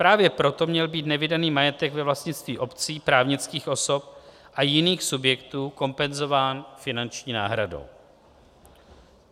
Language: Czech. Právě proto měl být nevydaný majetek ve vlastnictví obcí, právnických osob a jiných subjektů kompenzován finanční náhradou.